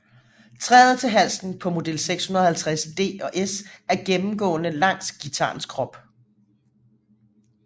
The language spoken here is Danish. Træet til halsen på model 650D og S er gennemgående langs guitarens krop